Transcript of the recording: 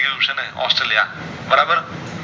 Australia બરાબર